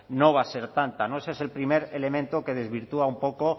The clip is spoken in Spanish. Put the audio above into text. no va a ser tanta ese es el primer elemento que desvirtúa un poco